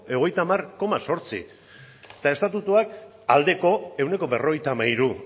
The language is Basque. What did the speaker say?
ehuneko hogeita hamar koma eta estatutuak aldeko ehuneko berrogeita hamairu